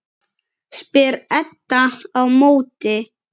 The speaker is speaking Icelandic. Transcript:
spyr Edda á móti.